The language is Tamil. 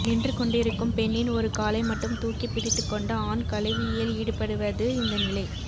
நின்று கொண்டிருக்கும் பெண்ணின் ஒரு காலை மட்டும் தூக்கிப் பிடித்துக் கொண்டு ஆண் கலவியில் ஈடுபடுவது இந்த நிலை